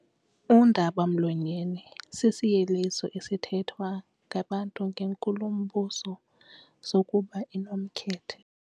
Undaba-mlonyeni sisinyeliso esithethwa ngabantu ngenkulumbuso sokuba inomkhethe.